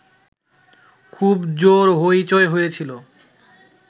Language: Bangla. খুব জোর হৈচৈ হয়েছিল